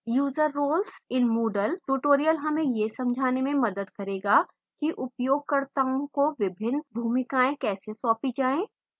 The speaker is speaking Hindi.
user roles in moodle tutorial हमें यह समझने में मदद करेगा कि उपयोगकर्ताओं को विभिन्न भूमिकाएँ कैसे सौंपी जाय